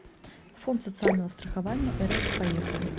фонд социального страхования рф поехали